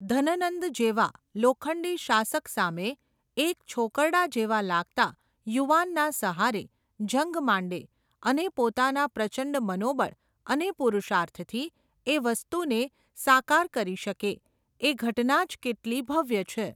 ધનનંદ જેવા, લોખંડી શાસક સામે, એક છોકરડા જેવા લાગતા, યુવાનના સહારે, જંગ માંડે, અને પોતાના પ્રચંડ મનોબળ, અને પુરુષાર્થથી, એ વસ્તુને, સાકાર કરી શકે, એ ઘટનાજ કેટલી ભવ્ય છે.